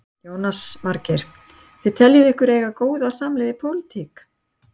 Jónas Margeir: Og þið teljið ykkur eiga góða samleið í pólitík?